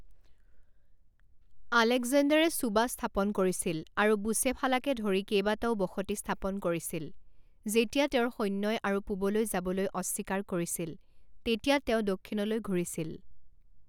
আলেকজেণ্ডাৰে চুবা স্থাপন কৰিছিল আৰু বুচেফালাকে ধৰি কেইবাটাও বসতি স্থাপন কৰিছিল; যেতিয়া তেওঁৰ সৈন্যই আৰু পূৱলৈ যাবলৈ অস্বীকাৰ কৰিছিল তেতিয়া তেওঁ দক্ষিণলৈ ঘূৰিছিল।